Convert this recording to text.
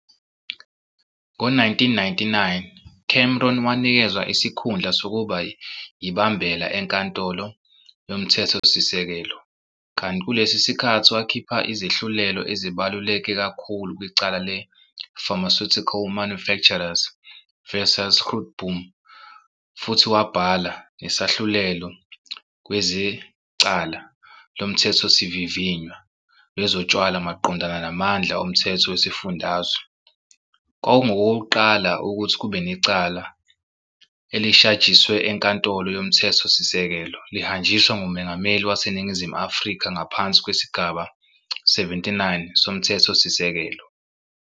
Ngo-1999, Cameron wanikezwa isikhundla sokuba yibambela eNkantolo yoMthethosisekelo, kanti kulesi sikhathi wakhipha izehlulelo ezibaluleke kakhulu kwicala le- Pharmaceutical Manufacturers vs Grootboom futhi wabhala "nesahlulelo kwezecala lomthethosivivinywa wezotshwala maqondana namandla omthetho wesifundazwe" - kwakungokokuqala, ukuthi kube necala elishajiswe eNkantolo yomthetho sisekelo lihanjiswa nguMongameli waseNingizimu Afrika ngaphansi kwesigaba 79 soMthethosisekelo.